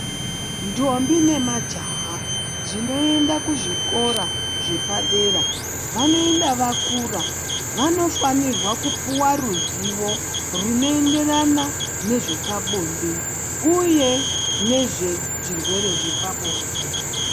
Ndombi nemajaha zvinoenda kuzvikora zvepadera vanoenda vakura, vanofanirwa kupuwa ruzivo rwunoenderana nezvepabonde uye nezvezvirwere zvepabonde.